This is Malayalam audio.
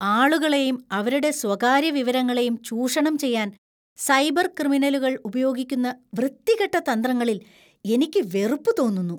ആളുകളെയും അവരുടെ സ്വകാര്യ വിവരങ്ങളെയും ചൂഷണം ചെയ്യാൻ സൈബർ ക്രിമിനലുകൾ ഉപയോഗിക്കുന്ന വൃത്തികെട്ട തന്ത്രങ്ങളിൽ എനിക്ക് വെറുപ്പ് തോന്നുന്നു.